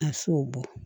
A se o bɔ